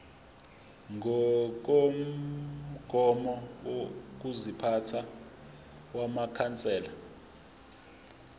ngokomgomo wokuziphatha wamakhansela